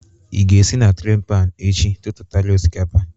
Ị ga-esi na tray pan echi tụtụtara osikapa?